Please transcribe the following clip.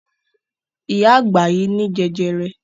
Ìyá àgbà yìí ní jẹjẹrẹ.